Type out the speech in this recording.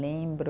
Lembro